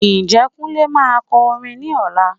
Ǹjẹ́ Kunle máa kọ orin ní ọ̀la?